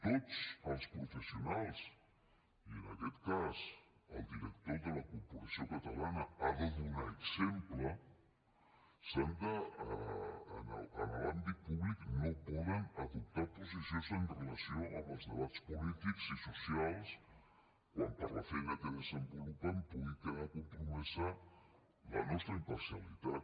tots els professionals i en aquest cas el director de la corporació catalana ha de donar exemple en l’àmbit públic no poden adoptar posicions en relació amb els debats polítics i socials quan per la feina que desenvolupen pugui quedar compromesa la nostra imparcialitat